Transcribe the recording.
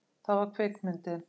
Það var kvikmyndin